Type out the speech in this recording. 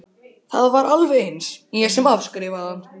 Það var alveg eins ég sem afskrifaði hann.